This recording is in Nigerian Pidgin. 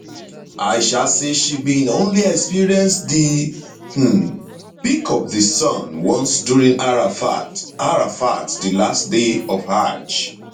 aisha say she bin only experience di um peak of di sun once during arafat arafat di last day of hajj